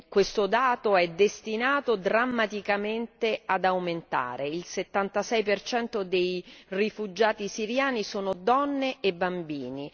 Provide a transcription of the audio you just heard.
questo dato è destinato drammaticamente ad aumentare il 76 dei rifugiati siriani sono donne e bambini.